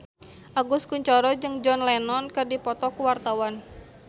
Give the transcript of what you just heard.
Agus Kuncoro jeung John Lennon keur dipoto ku wartawan